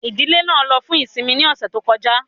Ìdílé náà ló fún ìsinmi ní ọ̀sẹ̀ tó kọjá